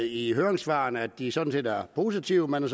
i høringssvarene at de sådan set er positive man